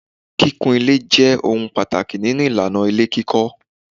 Kíkún ilé je ohun pàtàkì nínú ìlànà ilé kíkọ